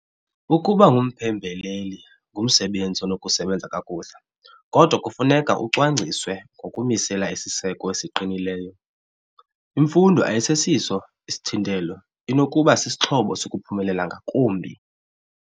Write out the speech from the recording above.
Ukuba ngumphembeleli ngumsebenzi onokusebenza kakuhle kodwa kufuneka ucwangciswe ngokumisela isiseko esiqinileyo. Imfundo ayisesiso isithintelo. Inokuba sisixhobo sokuphumelela ngakumbi.